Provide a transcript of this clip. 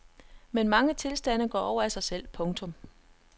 Men mange tilstande går over af sig selv. punktum